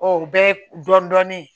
O bɛ dɔɔnin dɔɔnin